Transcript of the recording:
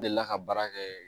N delila ka baara kɛ